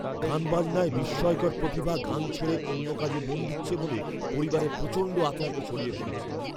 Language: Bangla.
গানবাজনায় বিস্ময়কর প্রতিভা গান ছেড়ে অন্য কাজে মন দিচ্ছে বলে পরিবারে প্রচণ্ড আতঙ্ক ছড়িয়ে পড়েছে!